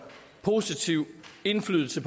egentlig til